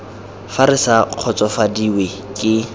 fa re sa kgotsofadiwe ke